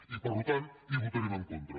i per tant hi votarem en contra